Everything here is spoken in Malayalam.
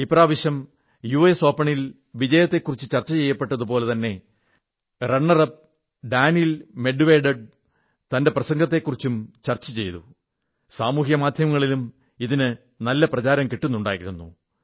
ഇപ്രാവശ്യം യുഎസ് ഓപണിൽ വിജയത്തെക്കുറിച്ചു ചർച്ച ചെയ്പ്പെട്ടതുപോലെ തന്നെ റണ്ണർ അപ് ഡാനീൽ മെഡ്വേഡെവ് ന്റെ പ്രസംഗത്തെക്കുറിച്ചും ചർച്ച ചെയ്യപ്പെട്ടു സാമൂഹ്യമാധ്യമങ്ങളിലും നല്ല പ്രചാരം കിട്ടുന്നുണ്ടായിരുന്നു